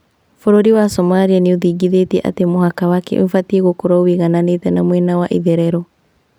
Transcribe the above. Bũrũri wa Somalia nĩthingithĩtie atĩ mũhaka wake nĩubatie gũkorwo wũigananĩte na mwena wa itherero